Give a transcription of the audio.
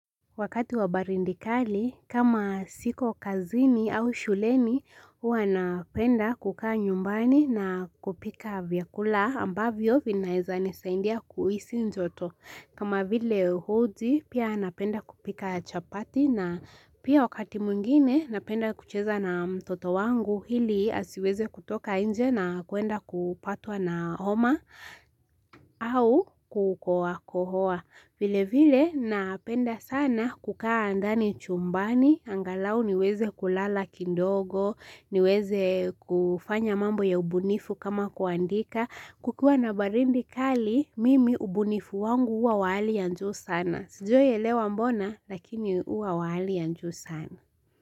Wakati wa baridi kali, kama siko kazini au shuleni, huwa napenda kukaa nyumbani na kupika vyakula ambavyo vinaezanisaidia kuhisi joto. Kama vile uji, pia napenda kupika chapati na pia wakati mwingine napenda kucheza na mtoto wangu hili asiweze kutoka nje na kuenda kupatwa na homa au kohoa kohoa. Vile vile napenda sana kukaa ndani chumbani, angalau niweze kulala kidogo, niweze kufanya mambo ya ubunifu kama kuandika, kukiwa na baridi kali, mimi ubunifu wangu huwa wa hali ya juu sana. Sijawahi elewa mbona, lakini huwa wa hali ya juu sana.